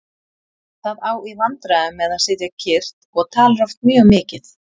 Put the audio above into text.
Það á í vandræðum með að sitja kyrrt og talar oft mjög mikið.